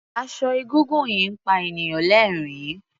Aṣọ egúngún yìí ń pa ènìyàn lẹ́rìn-ín.